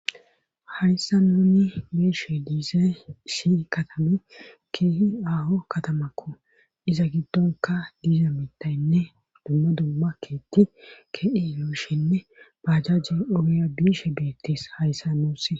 hayssa nuni beeshe diize si katame keehi aho katamakko iza giddonka diiza mitayinne dumma dumma keetti keeyushinne bajaje uraya biishe beettis hayssa nuuss